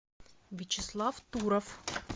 вячеслав туров